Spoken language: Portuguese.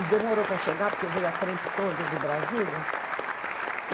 E demorou para chegar, porque veio a trempe toda de Brasília.